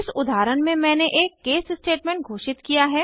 इस उदाहरण में मैंने एक केस स्टेटमेंट घोषित किया है